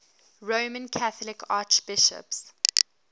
roman catholic archbishops